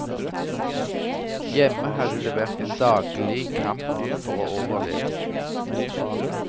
Hjemme hadde det vært en daglig kamp for å overleve.